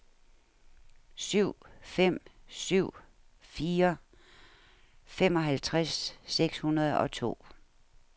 syv fem syv fire femoghalvtreds seks hundrede og to